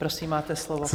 Prosím, máte slovo.